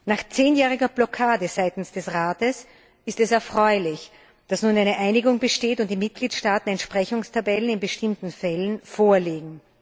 Nach 10jähriger Blockade seitens des Rates ist es erfreulich, dass nun eine Einigung besteht und die Mitgliedstaaten Entsprechungstabellen in bestimmten Fällen vorlegen.